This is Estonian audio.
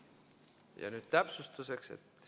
Ja nüüd täpsustuseks.